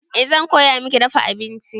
Eh zan koya miki dafa abinci.